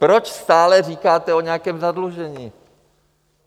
Proč stále říkáte o nějakém zadlužení?